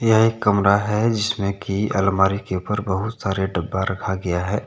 यह एक कमरा हैजिसमें की अलमारी के ऊपर बहुत सारे डब्बा रखा गया हैं।